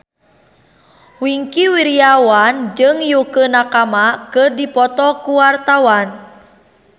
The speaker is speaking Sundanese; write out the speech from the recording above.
Wingky Wiryawan jeung Yukie Nakama keur dipoto ku wartawan